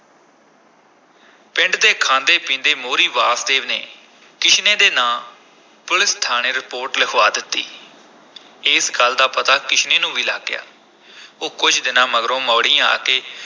ਪਿੰਡ ਦੇ ਖਾਂਦੇ-ਪੀਂਦੇ ਮੋਹਰੀ ਵਾਸਦੇਵ ਨੇ ਕਿਸ਼ਨੇ ਦੇ ਨਾਂ ਪੁਲੀਸ ਥਾਣੇ ਰਿਪੋਰਟ ਲਿਖਵਾ ਦਿੱਤੀ ਇਸ ਗੱਲ ਦਾ ਪਤਾ ਕਿਸ਼ਨੇ ਨੂੰ ਵੀ ਲੱਗ ਗਿਆ ਉਹ ਕੁਝ ਦਿਨਾਂ ਮਗਰੋਂ ਮੌੜੀਂ ਆ ਕੇ